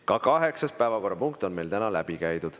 Ka kaheksas päevakorrapunkt on meil läbi käidud.